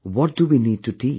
What do we need to teach